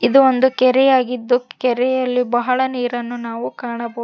ಇದು ಒಂದು ಕೆರೆ ಆಗಿದ್ದು ಕೆರೆಯಲ್ಲಿ ಬಹಳ ನೀರನ್ನು ನಾವು ಕಾಣಬ--